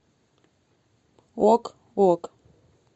ок ок